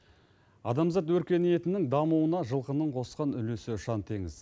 адамзат өркениетінің дамуына жылқының қосқан үлесі ұшан теңіз